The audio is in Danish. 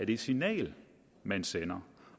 det signal man sender